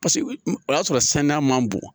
Paseke o y'a sɔrɔ saniya man bon